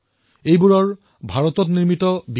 মই পূৰ্বেও কৈছো আৰু পুনৰবাৰ দেশবাসীক আহ্বান জনাম